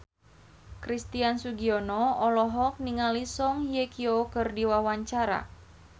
Christian Sugiono olohok ningali Song Hye Kyo keur diwawancara